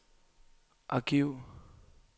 arkiv